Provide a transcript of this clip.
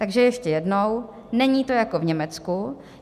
Takže ještě jednou: Není to jako v Německu.